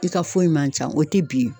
I ka foyi man can o tɛ bin